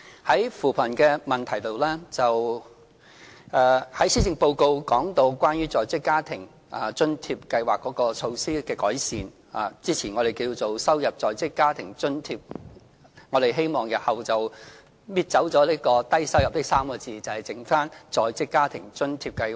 在扶貧方面，施政報告提到對在職家庭津貼計劃作出的改善，這計劃先前稱為低收入在職家庭津貼，我們日後會拿走"低收入"這3個字，把計劃易名為在職家庭津貼計劃。